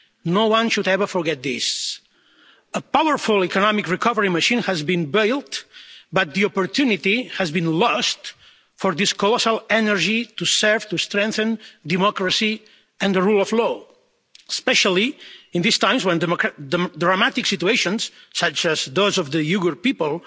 No one should ever forget this. A powerful economic recovery machine has been built, but the opportunity has been lost for this colossal energy to serve to strengthen democracy and the rule of law, especially in these times when dramatic situations, such as those of the Uyghur people,